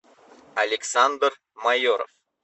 александр майоров